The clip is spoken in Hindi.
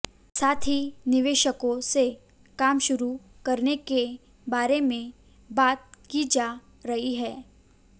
साथ ही निवेशकों से काम शुरू करने के बारे में बात की जा रही है